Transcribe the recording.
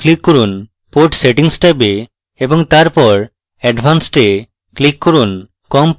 port settings ট্যাবে এবং তারপর advanced এ click করুন